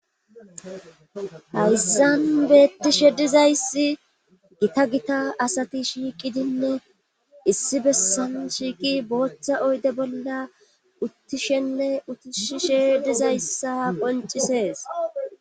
Hayssan beettishe dizayssi gita gita asati shiiqidinne issi bessan shiiqi booththa oyde bolla uttishenne utushishe dizayssa qoncisees